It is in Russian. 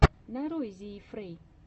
нарой зиифрей